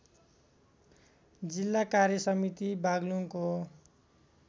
जिल्ला कार्यसमिति बागलुङको